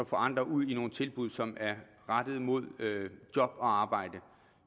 få andre ud i nogle tilbud som er rettet mod job og arbejde